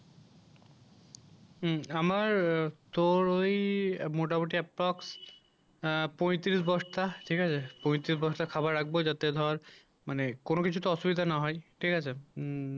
হুম আমার তোর ওই মোটামুটি এক পাস আ পঁয়ত্রিশ বস্তা ঠিক আছে পঁয়ত্রিশ বস্তা খাবার লাগবে যত ধর মানে কোন কিছুতে অসুবিধা না হয় ঠিক আছে উম